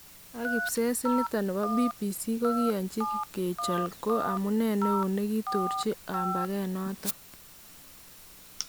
Ak kibses initon nebo BBC kokaiyanjin : kechol ko amunee neon nekitorchi kambakeet noton